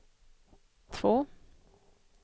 två